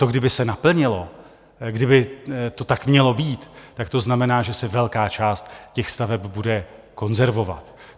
To kdyby se naplnilo, kdyby to tak mělo být, tak to znamená, že se velká část těch staveb bude konzervovat.